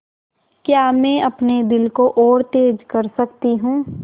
क्या मैं अपने दिल को और तेज़ कर सकती हूँ